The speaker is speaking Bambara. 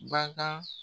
Baga